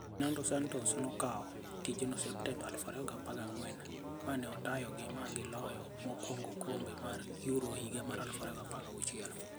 Fernando Santos nokawo tijno Septemba 2014 mane otayogi magi loyo mokwongo okombe mar Euro higa mar 2016.